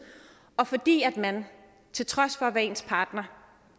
og fordi man til trods for hvad ens partner